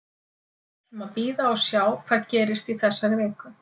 Við ætlum að bíða og sjá hvað gerist í þessari viku.